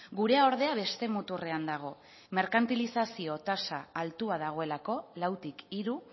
gurea ordea beste muturrean dago merkantilizazioa tasa altua dagoelako lautik hiru